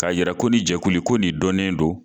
K'a yɛrɛ ko nin jɛkulul ko nin dɔnnen don